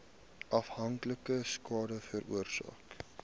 afhanklikheid skade veroorsaak